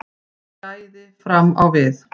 Gæði fram á við